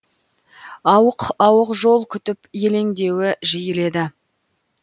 ауық ауық жол күтіп елеңдеуі жиіледі